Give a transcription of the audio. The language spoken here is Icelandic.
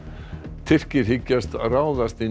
Tyrkir hyggjast ráðast inn í